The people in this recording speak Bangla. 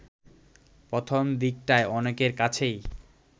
প্রথম দিকটায় অনেকের কাছেই